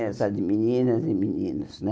Eram só de meninas e meninos, né?